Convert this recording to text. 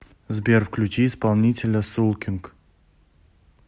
сбер включи исполнителя сулкинг